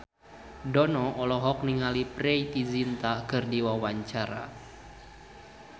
Dono olohok ningali Preity Zinta keur diwawancara